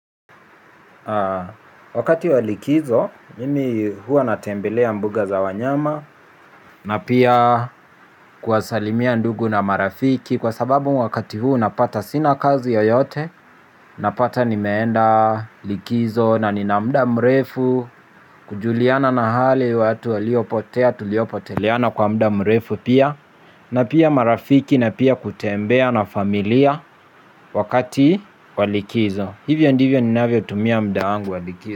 Wakati wa likizo mimi huwa natembelea mbuga za wanyama na pia kuwasalimia ndugu na marafiki kwa sababu wakati huu napata sina kazi yoyote napata nimeenda likizo na nina muda mrefu kujuliana na hali watu waliopotea tuliopoteleana kwa muda mrefu pia na pia marafiki na pia kutembea na familia wakati wa likizo hivyo ndivyo ninavyotumia muda wangu wa likizo.